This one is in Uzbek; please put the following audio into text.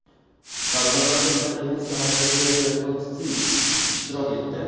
Tadbirlarda Italiya Elchisi Andrea Bertotssi ishtirok etdi.